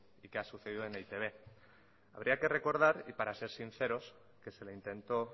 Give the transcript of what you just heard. y qué ha sucedido en e i te be habría que recordar y para ser sinceros que se le intentó